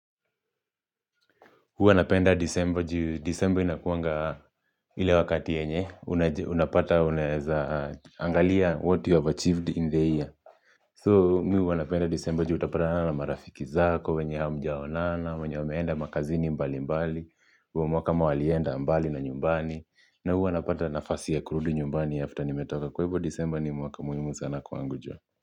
Huwa napenda disemba juu, disemba inakuanga ile wakati yenye, unapata, unaeza, angalia what you have achieved in the year. So, mimi huw napenda disemba juu utapata na marafiki zako, wenye hamjaonana, wenye wameenda makazini mbali mbali, huo mwaka kama walienda mbali na nyumbani, na huwa napata nafasi ya kurudi nyumbani after nimetoka kwa hivyo disemba ni mwaka muhimu sana kwangu joh.